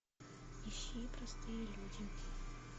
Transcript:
ищи простые люди